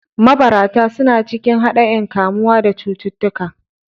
Mabarata suna cikin haɗaein kamuwa da cututtuka.